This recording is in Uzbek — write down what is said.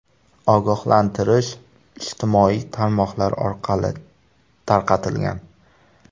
Ogohlantirish ijtimoiy tarmoqlar orqali tarqatilgan.